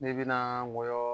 Ne binaa nkɔyɔɔ